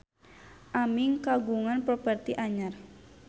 Aming kagungan properti anyar